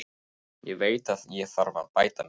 Ég veit að ég þarf að bæta mig.